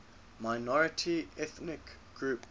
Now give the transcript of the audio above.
minority ethnic groups